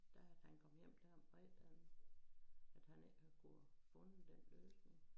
Der havde han kommet hjem dér om fredagen at han ikke havde kunne fundet den løsning